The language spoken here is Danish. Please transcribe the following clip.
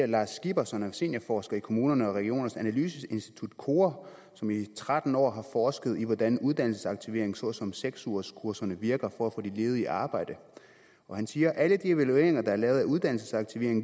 lars skipper som er seniorforsker i kommunernes og regionernes analyseinstitut kora som i tretten år har forsket i hvordan uddannelsesaktivering såsom seks ugerskurserne virker for at få de ledige i arbejde han siger at alle evalueringer der er lavet af uddannelsesaktivering